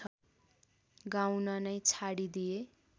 गाउन नै छाडिदिए